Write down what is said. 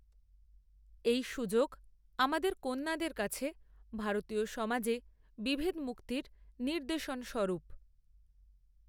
এই সুযোগ আমাদের কন্যাদের কাছে ভারতীয় সমাজে বিভেদমুক্তির নিদর্শনস্বরূপ।